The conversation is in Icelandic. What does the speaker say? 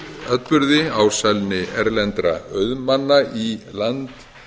atburði ásælni erlendra auðmanna í land